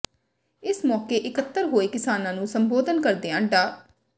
ਇਸ ਮੌਕੇ ਇਕੱਤਰ ਹੋਏ ਕਿਸਾਨਾਂ ਨੂੰ ਸੰਬੋਧਨ ਕਰਦਿਆਂ ਡਾ